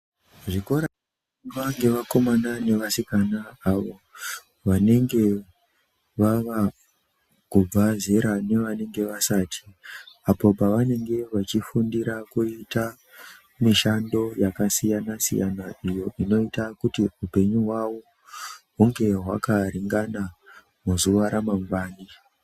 Zvikora zvinoendwa ngevakomana nevasikana avo vanenge vaakubve zera apo pavanenge veifundira kuite mishando yakasiyana siyana iyo inoita kuti upenyu hwavo hunge hwakaringana mangwani.